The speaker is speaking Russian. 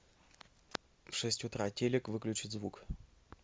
в шесть утра телик выключить звук